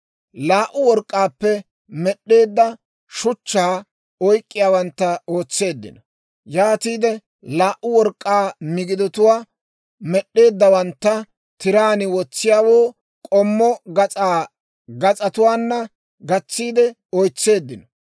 Laa"u work'k'aappe med'd'eedda shuchchaa oyk'k'iyaawantta ootseeddino; yaatiide laa"u work'k'aa migidatuwaa med'd'eeddawantta, tiraan wotsiyaawoo k'ommo gas'aa gas'atuwaana gatsiide oysetseeddino.